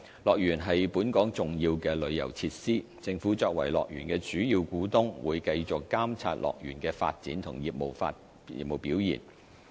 樂園是本港重要的旅遊設施，政府作為樂園的主要股東會繼續監察樂園的發展和業務表現。